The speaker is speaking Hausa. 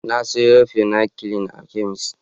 Na sayo penecillin a kemis.